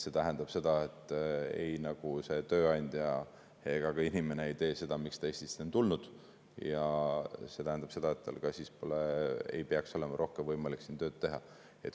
See tähendab seda, et ei tööandja ega ei tee seda, mida tegema ta Eestisse on tulnud, ja see tähendab seda, et kui selline asi juhtub, siis ei peaks tal olema rohkem võimalik siin tööd teha.